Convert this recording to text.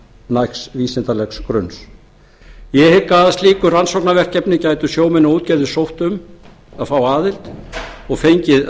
nægs vísindalegs grunns ég hygg að að slíku rannsóknarverkefni gætu sjómenn og útgerðarmenn sótt um að fá aðild og fengið